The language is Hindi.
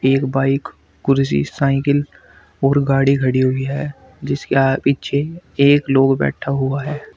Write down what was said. एक बाइक कुर्सी साइकिल और गाड़ी खड़ी हुई है जिसके आ पीछे एक लोग बैठा हुआ है।